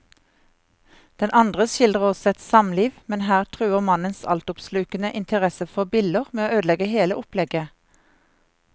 Den andre skildrer også et samliv, men her truer mannens altoppslukende interesse for biller med å ødelegge hele opplegget.